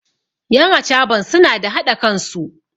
yan achaban suna da haɗa kansu